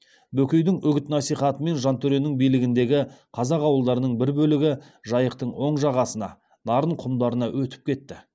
бөкейдің үгіт насихатымен жантөренің билігіндегі қазақ ауылдарының бір бөлігі жайықтың оң жағасына нарын құмдарына өтіп кетті